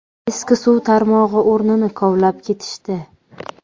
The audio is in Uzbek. Eski suv tarmog‘i o‘rnini kovlab ketishdi.